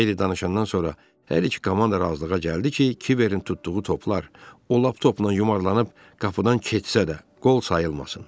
Xeyli danışandan sonra hər iki komanda razılığa gəldi ki, Kiberin tutduğu toplar o lap topla yumalanıb qapıdan keçsə də, qol sayılmasın.